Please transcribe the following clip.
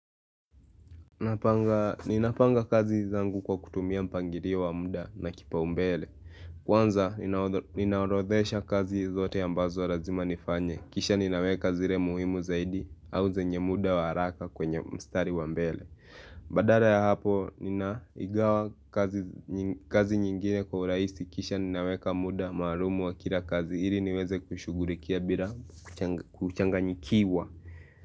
Ninapanga kazi zangu kwa kutumia mpangilio wa muda na kipaumbele Kwanza ninaorodhesha kazi zote ambazo lazima nifanye Kisha ninaweka zile muhimu zaidi au zenye muda wa haraka kwenye mstari wa mbele Badala ya hapo ninaigawa kazi nyingine kwa uraisi Kisha ninaweka muda maalumu wa kila kazi hili niweze kushughulikia bila kuchanganyikiwa.